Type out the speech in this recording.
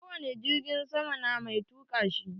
Ko wani jirgin sama na mai tuka shi.